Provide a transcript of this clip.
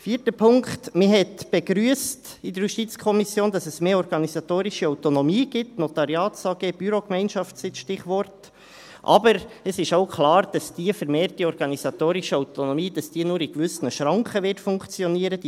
Vierter Punkt: Man begrüsste in der JuKo, dass es mehr organisatorische Autonomie gibt – NotariatsAG, Bürogemeinschaft sind die Stichworte –, aber es ist auch klar, dass diese vermehrte organisatorische Autonomie nur in gewissen Schranken funktionieren wird.